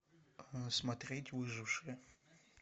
смотреть выжившие